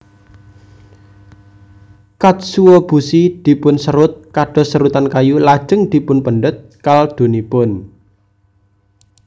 Katsuobushi dipunserut kados serutan kayu lajeng dipunpendhet kaldunipun